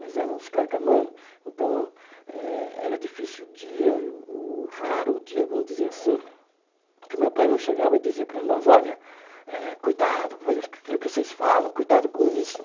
nós éramos os carcamano, então eh era difícil o dia, o o raro dia, vamos dizer assim, que meu pai não chegava e dizia para nós, olha, eh cuidado vê com aquilo que vocês falam, cuidado com isso.